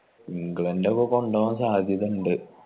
ഇംഗ്ലണ്ടോക്കെ കൊണ്ട് പോവാൻ സാധ്യതയുണ്ട്